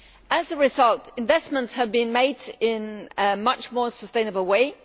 As a result, investments have been made in a much more sustainable way.